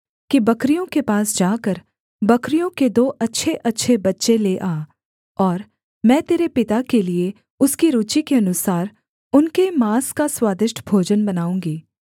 कि बकरियों के पास जाकर बकरियों के दो अच्छेअच्छे बच्चे ले आ और मैं तेरे पिता के लिये उसकी रूचि के अनुसार उनके माँस का स्वादिष्ट भोजन बनाऊँगी